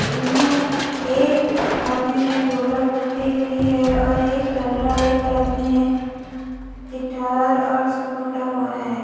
इनमें एक आदमी ने ढोलक पकड़ी हुई है और एक रबला एक आदमी ने गिटार और सब पकड़ा हुआ है।